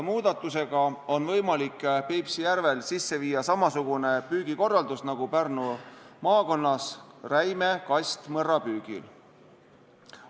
Muudatusega on võimalik Peipsi järvel sisse viia samasugune püügikorraldus nagu Pärnu maakonnas räime kastmõrrapüügil.